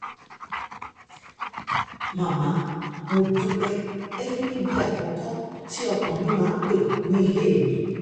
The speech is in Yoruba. màámi mo dúpẹ́ ẹ̀yìn ní ibi àkọ́kọ́ tí ọkàn mi máa ń pẹ́ ní ilé mi